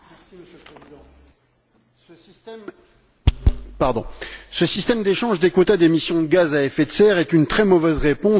Monsieur le Président, ce système d'échange de quotas d'émission de gaz à effet de serre est une très mauvaise réponse à un vrai problème.